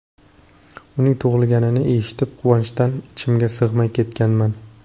Uning tug‘ilganini eshitib, quvonchdan ichimga sig‘may ketganman.